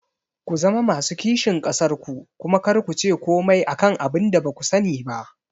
Ku zama masu kishin ƙasar ku kuma kar kuce komai akan abinda baku sani ba